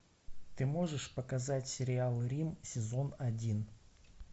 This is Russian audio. ты можешь показать сериал рим сезон один